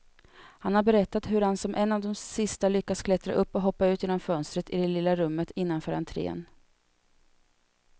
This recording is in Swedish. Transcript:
Han har berättat hur han som en av de sista lyckas klättra upp och hoppa ut genom fönstret i det lilla rummet innanför entrén.